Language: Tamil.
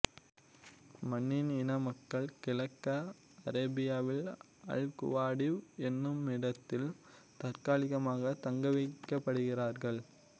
மணியின் இன மக்கள் கிழக்கு அரேபியாவில் அல்குவாடிவ் என்னுமிடத்தில் தற்காலிகமாக தங்கவைக்கப்படுகிறார்கள்